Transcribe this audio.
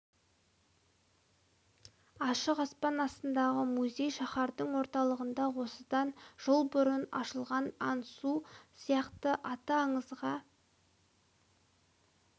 ашық аспан астындағы музей шаһардың орталығында осыдан жыл бұрын ашылған як ан су сияқты аты аңызға